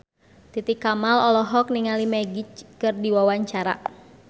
Titi Kamal olohok ningali Magic keur diwawancara